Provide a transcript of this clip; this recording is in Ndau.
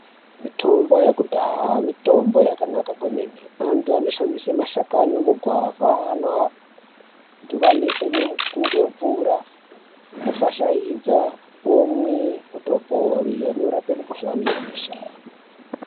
Mitombo yekudhaya mitombo yakanaka kwemene. Antu anoshandisa mashakani emugwavha anoadhivanisa ngemvura ofashaidza omwe otopore. Anorape mukuhlani yebesha.